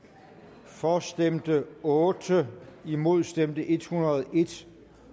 for ændringsforslaget stemte otte imod stemte en hundrede og